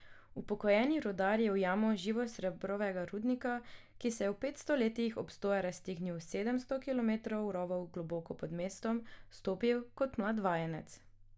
Upokojeni rudar je v jamo živosrebrovega rudnika, ki se je v petsto letih obstoja raztegnil v sedemsto kilometrov rovov globoko pod mestom, vstopil kot mlad vajenec.